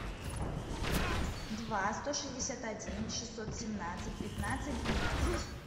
два сто шестьдесят один шестьсот семнадцать пятнадцать двенадцать